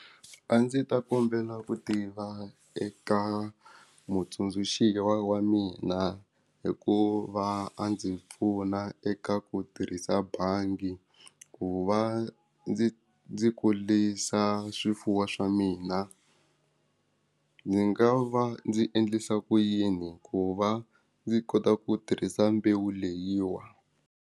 A ndzi ta kombela ku tiva eka mutsundzuxi wa mina hikuva a ndzi pfuna eka ku tirhisa bangi ku va ndzi ndzi kurisa swifuwo swa mina ndzi nga va ndzi endlisa ku yini ku va ndzi kota ku tirhisa mbewu leyiwa.